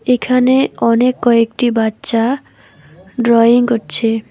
এখানে অনেক কয়েকটি বাচ্চা ড্রয়িং করছে।